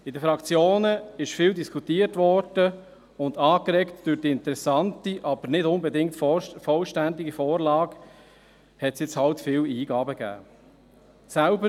In den Fraktionen wurde viel diskutiert, und angeregt durch die interessante, aber nicht unbedingt vollständige Vorlage hat es halt viele Eingaben gegeben.